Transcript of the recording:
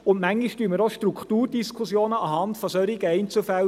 Manchmal führen wir auch Strukturdiskussionen anhand solcher Einzelfälle.